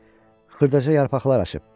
Xırdaca yarpaqlar açıb.